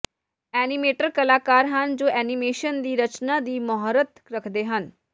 animator ਕਲਾਕਾਰ ਹਨ ਜੋ ਐਨੀਮੇਸ਼ਨ ਦੀ ਰਚਨਾ ਦੀ ਮੁਹਾਰਤ ਰੱਖਦੇ ਹਨ